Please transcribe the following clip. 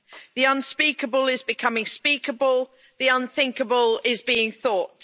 The unspeakable is becoming speakable, the unthinkable is being thought.